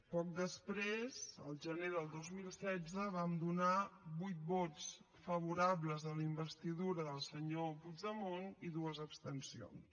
poc després el gener del dos mil setze vam donar vuit vots favorables a la investidura del senyor puigdemont i dues abstencions